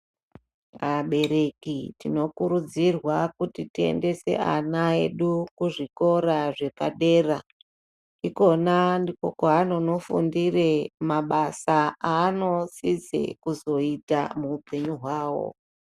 Abereki tinokurudzirwa kuti tiendese ana edu kuzvikora zvepadera. Ikona ndiko kwaanonofundire mabasa aanotsidze kuzoita muhupenyu hwawo.